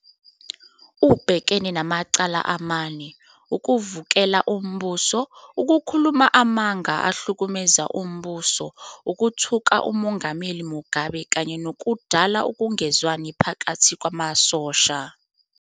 Ubhekane namacala amane. "ukuvukela umbuso, ukukhuluma amanga ahlukumeza umbuso, ukuthuka uMongameli Mugabe kanye nokudala ukungezwani phakathi kwamasosha"..